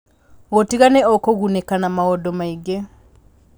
Gũtiga nĩ ũkũgunĩka na maũndũ maingĩ